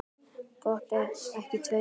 Gott ef ekki tveir.